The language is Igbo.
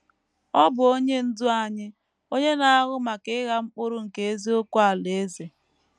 Ọ bụ Onye Ndú anyị, onye na - ahụ maka ịgha mkpụrụ nke eziokwu Alaeze.